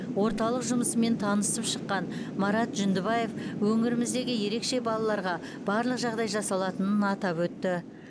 орталық жұмысымен танысып шыққан марат жүндібаев өңіріміздегі ерекше балаларға барлық жағдай жасалатынын атап өтті